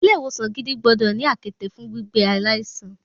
Ilé ìwòsan gidi gbọ́dọ̀ ní àkéte fún gbígbé aláìsàn.